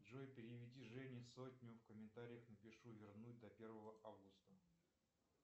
джой переведи жене сотню в комментариях напишу вернуть до первого августа